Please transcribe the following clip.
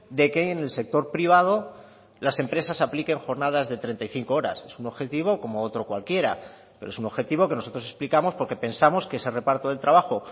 de que en el sector privado las empresas apliquen jornadas de treinta y cinco horas es un objetivo como otro cualquiera pero es un objetivo que nosotros explicamos porque pensamos que ese reparto del trabajo